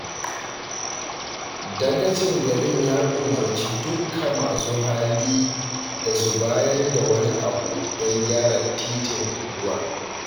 Dagacin garin ya umarci dukka masu hali da su bayar da wani abu don gyara titin unguwar